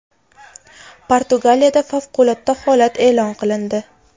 Portugaliyada favqulodda holat e’lon qilindi.